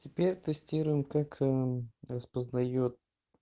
теперь тестируем как распознает